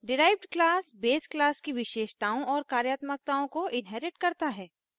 derived class base class की विशेषताओं properties और कार्यात्मकताओं functionality को inherits करता है